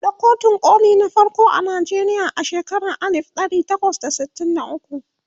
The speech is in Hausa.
an buɗe kotun koli na farko a Nigeria a shekaran alif ɗari takwas da sittin da ukwu